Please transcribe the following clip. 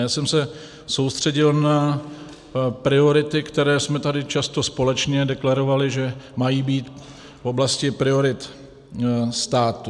Já jsem se soustředil na priority, které jsme tady často společně deklarovali, že mají být v oblasti priorit státu.